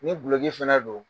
Ni kulokoki fana don